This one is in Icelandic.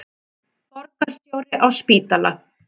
Borgarstjóri á spítala